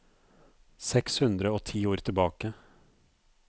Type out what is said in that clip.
Seks hundre og ti ord tilbake